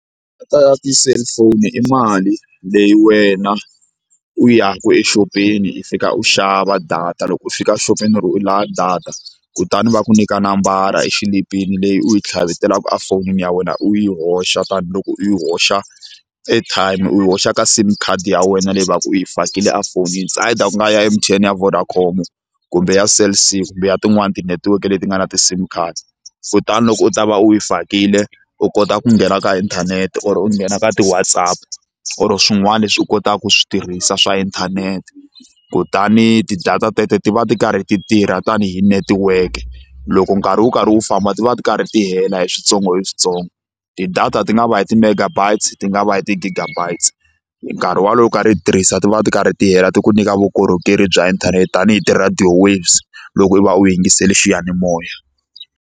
ya tiselifoni i mali leyi wena u exopeni hi fika u xava data loko u fika exopeni u ri u lava data kutani va ku nyika nambara exilipini leyi u yi tlhavetelaka efonini ya wena u yi hoxa tanihiloko u yi hoxa airtime u hoxa ka sim card ya wena leyi va ka u yi fakile a fonini its either ku nga ya M_T_N ya Vodacom kumbe ya Cell_C kumbe ya tin'wani tinetiweke leti nga na ti-sim card kutani loko u ta va u yi fakile u kota ku nghena ka inthanete or u nghena ka ti-Whatsapp or swin'wana leswi u kotaka ku swi tirhisa swa inthanete kutani ti-data teto ti va ti karhi ti tirha tanihi network loko nkarhi wu karhi wu famba ti va ti karhi ti hela hi switsongo hi switsongo ti-data ti nga va hi ti-megabytes ti nga va hi ti-gigabytes nkarhi wolowo u karhi hi tirhisa ti va ti karhi ti hela ti ku nyika vukorhokeri bya inthanete tanihi tirhadiyo waves loko u va u yingisele xiyanimoya.